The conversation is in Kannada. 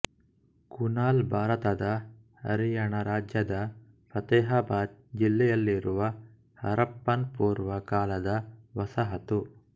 ಕುನಾಲ್ ಭಾರತದ ಹರಿಯಾಣ ರಾಜ್ಯದ ಫತೇಹಾಬಾದ್ ಜಿಲ್ಲೆಯಲ್ಲಿರುವ ಹರಪ್ಪನ್ ಪೂರ್ವ ಕಾಲದ ವಸಾಹತು